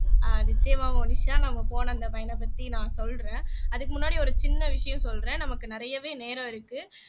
ஆஹ் நிச்சயமா மோனிஷா நாங்க போன அந்த பயணத்த பத்தி நான் சொல்றேன் அதுக்கு முன்னாடி ஒரு சின்ன விஷயம் சொல்றேன் நமக்கு நிறையவே நேரம் இருக்கு